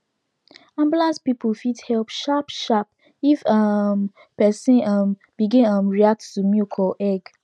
ambulance people fit help sharp sharp if um person um begin um react to milk or egg